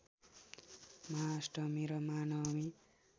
महाअष्टमी र महानवमी